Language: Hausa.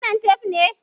Wannan tef ne?